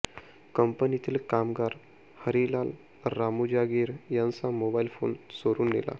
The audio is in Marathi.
कंपनीतील कामगार हरिलाल रामूजागीर यांचा मोबाईल फोन चोरून नेला